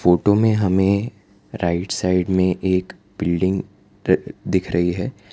Photo में हमें right side में एक बिल्डिंग दिख रही है।